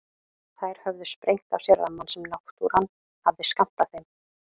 Þær höfðu sprengt af sér rammann sem náttúran hafði skammtað þeim.